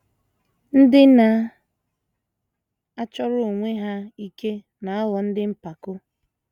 Ndị na - achọrọ onwe ha ike na - aghọ ndị mpako.